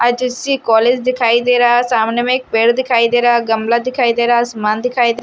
college दिखाई दे रहा है सामने में एक पेड़ दिखाई दे रहा गमला दिखाई दे रहा सामान दिखाई--